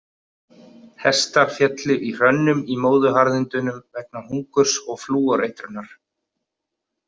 Hestar féllu í hrönnum í Móðuharðindunum vegna hungurs og flúoreitrunar.